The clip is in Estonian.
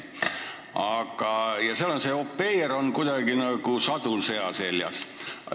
Aga au pair'id on seal nagu sadul sea seljas.